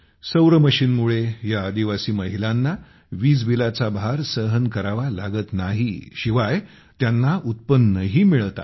सौर मशिनमुळे या आदिवासी महिलांना वीजबिलाचा भार सहन करावा लागत नाही शिवाय त्यांना उत्पन्नही मिळते आहे